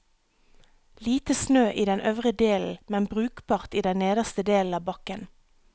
Lite snø i den øvre delen, men brukbart i den nederste delen av bakken.